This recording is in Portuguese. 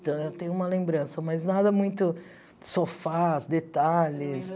Então, eu tenho uma lembrança, mas nada muito sofás, detalhes.